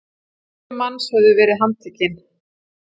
Sjö manns höfðu verið handtekin!